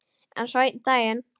En svo einn daginn.